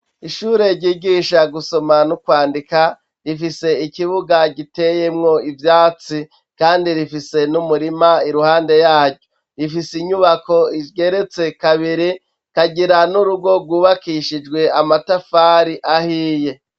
Ishure ryigisha gusoma no kwandika, rifise ikibuga giteyemwo ivyatsi kandi rifise n'umurima iruhande yaryo. Rifise inyubako igeretse kabiri, ikagira n'urugo rwubakishijwe amatafari ahiye.